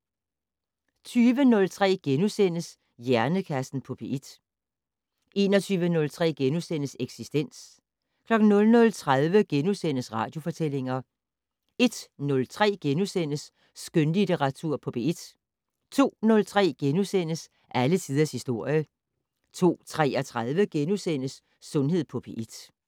20:03: Hjernekassen på P1 * 21:03: Eksistens * 00:30: Radiofortællinger * 01:03: Skønlitteratur på P1 * 02:03: Alle tiders historie * 02:33: Sundhed på P1 *